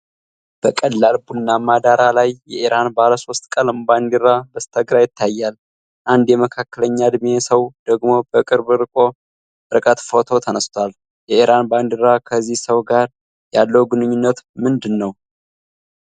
በቀላል ቡናማ ዳራ ላይ የኢራን ባለ ሶስት ቀለም ባንዲራ በስተግራ ይታያል፤ አንድ የመካከለኛ ዕድሜ ሰው ደግሞ በቅርብ ርቀት ፎቶ ተነስቷል። የኢራን ባንዲራ ከዚህ ሰው ጋር ያለው ግንኙነት ምንድነው?